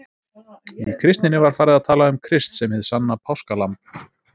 Í kristninni var farið að tala um Krist sem hið sanna páskalamb.